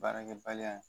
Baarakɛbaliya ye